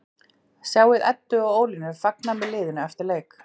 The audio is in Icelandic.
Sjáðu Eddu og Ólínu fagna með liðinu eftir leik